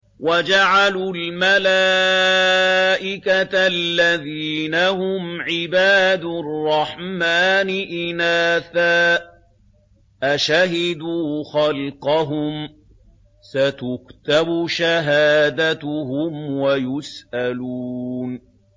وَجَعَلُوا الْمَلَائِكَةَ الَّذِينَ هُمْ عِبَادُ الرَّحْمَٰنِ إِنَاثًا ۚ أَشَهِدُوا خَلْقَهُمْ ۚ سَتُكْتَبُ شَهَادَتُهُمْ وَيُسْأَلُونَ